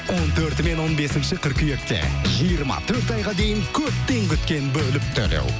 он төрті мен он бесінші қыркүйекте жиырма төрт айға дейін көптен күткен бөліп төлеу